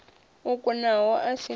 o kunaho a si na